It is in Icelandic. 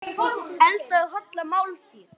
Eldaðu holla máltíð.